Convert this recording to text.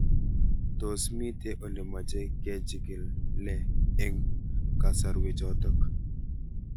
Tos mito ole mache kechig'ile eng' kasarwek chotok